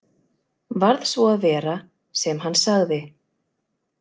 Varð svo að vera sem hann sagði.